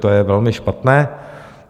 To je velmi špatné.